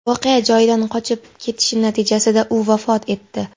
voqea joyidan qochib ketishi natijasida u vafot etdi.